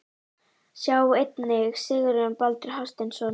Sjá einnig Sigurjón Baldur Hafsteinsson.